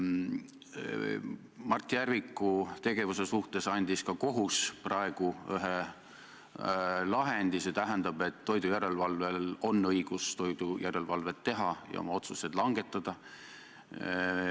Mart Järviku tegevuse kohta on ka kohus ühe lahendi andnud, et toidujärelevalvel on õigus toidu üle järelevalvet teha ja oma otsuseid langetada.